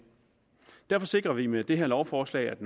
derfor sikrer vi med det her lovforslag at